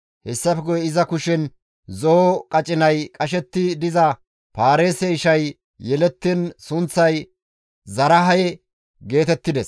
Hessafe guye iza kushen zo7o qacinay qashetti diza Paareese ishay yelettiin sunththay Zaraahe geetettides.